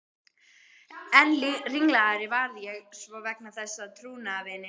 Enn ringlaðri varð ég svo vegna þess að trúnaðarvini